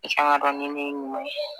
I kan ka dɔn ni min ye ɲuman ye